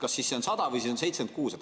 Kas siis on 100 või 76?